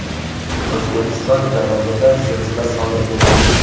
O‘zbekiston janubida zilzila sodir bo‘ldi.